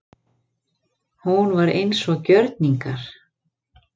Hún var eins og gjörningar.